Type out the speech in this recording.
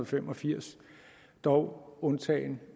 fem og firs dog undtaget